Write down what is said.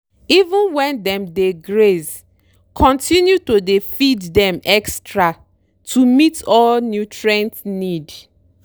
even when dem dey graze continue to dey feed dem extra to meet all nutrient need.